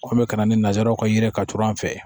Ko n bɛ ka na ni nanzaraw ka yiri ka co an fɛ